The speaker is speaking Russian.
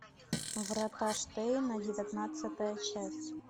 врата штейна девятнадцатая часть